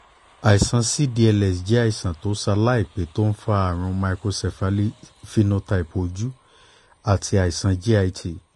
àìsàn cdls jẹ́ àìsàn tó ṣaláìpé tó ń fa àrùn microcephaly phenotype ojú àti àìsàn git